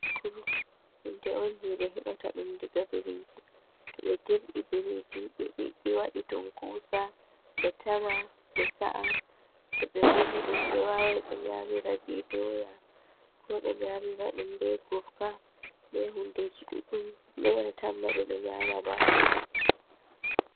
Bakuru, hunde on jeɓe hebata ɗum diga biriji. Toh ɓe dirɓi biriji ɓe biɗɗi, wadi tunkusa ɓe tama, ɓe sa'a, toh be uni ɗum ɓe wawan ɓe nyamira be doya, be gurka, be hundeji ɗuɗɗum, mere tan ma ɓe ɗo nyama baakuru.